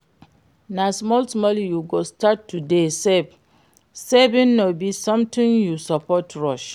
Na small small you go start to dey save, saving no be something you suppose rush